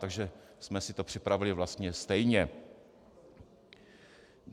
Takže jsme si to připravili vlastně stejně.